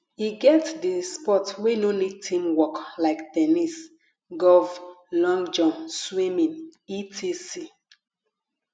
e get di sport wey no need teamwork like ten nis golf long jump swimming etc